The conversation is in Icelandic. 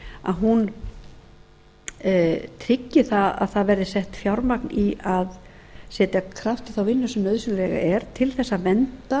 að þessu máli tryggi að það verði sett fjármagn í að setja kraft í þá vinnu sem nauðsynleg er til þess að vernda